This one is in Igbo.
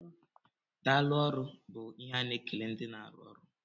Daalụ ọrụ bú ihe a na-ekele ndị na arụ ọrụ.